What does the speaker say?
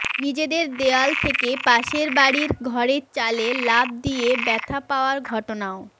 নিজেদের দেয়াল থেকে পাশের বাড়ির ঘরের চালে লাফ দিয়ে ব্যাথা পাওয়ার ঘটনাও